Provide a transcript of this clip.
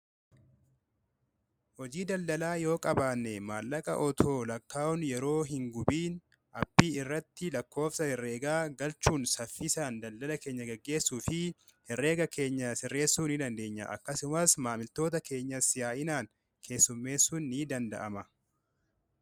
hojii daldalaa yoo qabaanne maallaqa otoo lakkaa'un yeroo hin gubiina aappii irratti lakkoofsa herreegaa galchuun saffisaan daldala keenya gaggeessuu fi herreega keenya sirreessuu ni dandeenya akkasumas maamiltoota keenya siyaa'inaan keessummeessuu ni danda'ama